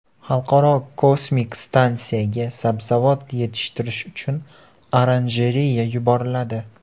Xalqaro kosmik stansiyaga sabzavot yetishtirish uchun oranjereya yuboriladi.